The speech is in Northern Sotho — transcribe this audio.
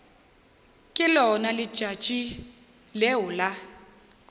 ke lona letšatši leo la